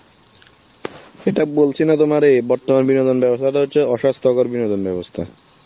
এটা বলছি না তোমারে বর্তমানে বিনোদনের ব্যবস্থা হচ্ছে অস্বাস্থ্যকর বিনোদন ব্যবস্থা.